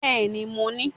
Bẹ́ẹ̀ni mo ní